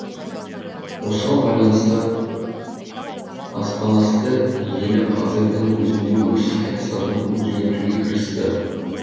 осыған байланысты аспанасты елі қазірдің өзінде өз саясатын өзгертуге кірісті